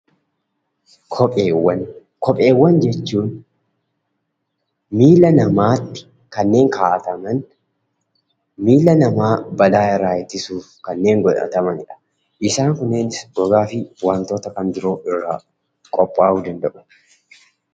Kopheewwan jechuun miilla namaatti kanneen kaawwataman; miilla namaa balaa irraa ittisuuf kanneen godhatamanidha. Isaan kunneenis gogaafi wantoota kan biroo irraa qophaa'uu danda'u.